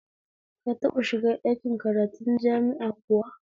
Ka taɓa shiga ɗakin karatun jama'i kuwa?